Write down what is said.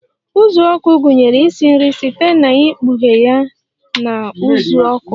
uzuọkụ gụnyere ịsị nri site na ikpughe ya na uzuoku